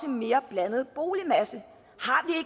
en mere blandet boligmasse